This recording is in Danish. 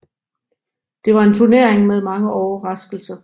Det var en turnering med mange overraskelser